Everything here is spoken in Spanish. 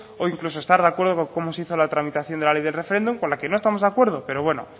o incluso estar de acuerdo con cómo se hizo la tramitación de la ley del referéndum con la que no estamos de acuerdo pero bueno